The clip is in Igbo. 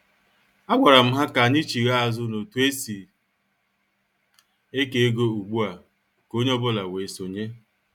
A gwara m ha ka anyị chigha azụ n' otu esi eke ego ugbua ka onye ọ bụla wee sonye.